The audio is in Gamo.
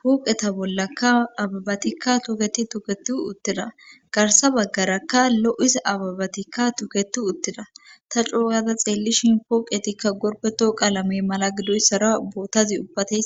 huqeta bollakka ababatikka toketi tuketu utteda garsa baggarakka lo7isa ababatikka tuketu utteda ta cooyada xeellishin pooqetikka gorbeto qalame mala gidoyssara bootazi ubbate.